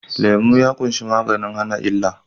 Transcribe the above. Lemu ya ƙunshi maganin hana illa